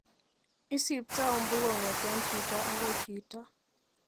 Isipto umbu kong'eten chito akoi chito.